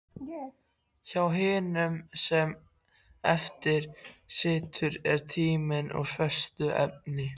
Hjá hinum sem eftir situr er tíminn úr föstu efni.